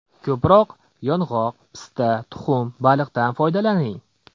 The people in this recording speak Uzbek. Ko‘proq yong‘oq, pista, tuxum, baliqdan foydalaning.